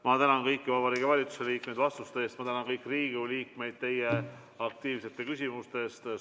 Ma tänan kõiki Vabariigi Valitsuse liikmeid vastuste eest ja tänan kõiki Riigikogu liikmeid aktiivselt küsimuste esitamise eest.